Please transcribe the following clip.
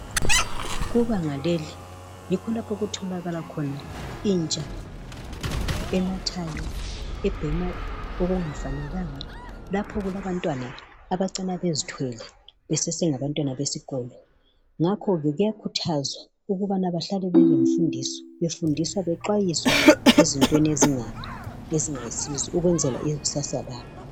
kubanga leli yikho lapha okutholakala khona intsha enathayo ebhema okungafanelanga lapha okulabantwana abacina bezithwele besesengabantwana besikolo ngakho ke kuyakhuthazwa ukubana bahlale belemfundiso befundiswa bexwayiswa ezintweni ezingayisizo ukwenzela ikusasa labo